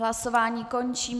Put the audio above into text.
Hlasování končím.